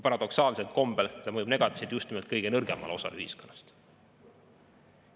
Paradoksaalsel kombel mõjub see negatiivselt just nimelt kõige nõrgemale osale ühiskonnast.